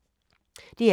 DR1